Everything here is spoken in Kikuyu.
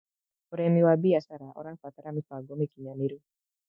Ũrĩmĩ wa bĩashara ũrabatara mĩbango mĩkĩnyanĩrũ